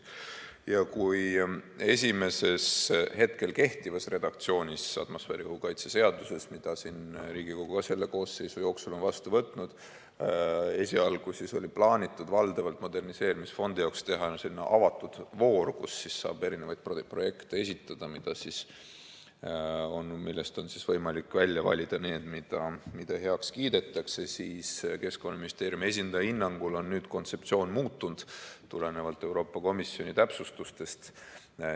Ja kui hetkel kehtivas atmosfääriõhu kaitse seaduse redaktsioonis, mida siin Riigikogu ka selle koosseisu jooksul on muutnud, esialgu oli plaanitud valdavalt moderniseerimisfondi jaoks teha selline avatud voor, kus saab eri projekte esitada, millest on siis võimalik välja valida need, mida heaks kiidetakse, siis Keskkonnaministeeriumi esindaja hinnangul on nüüd kontseptsioon muutunud tulenevalt Euroopa Komisjoni täpsustustest.